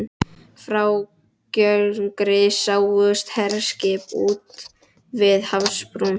Frá Gjögri sáust herskip úti við hafsbrún